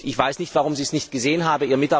Ich weiß nicht, warum Sie es nicht gesehen haben.